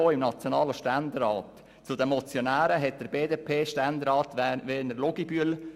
Zu den Motionären gehörte unter anderen BDP-Ständerat Werner Luginbühl.